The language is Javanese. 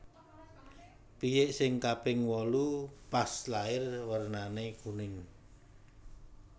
Piyik sing kaping wolu pas lair wernane kuning